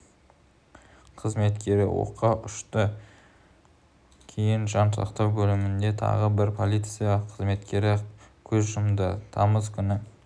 қызметкері оққа ұшты кейін жан сақтау бөлімінде тағы бір полиция қызметкері көз жұмды тамыз күні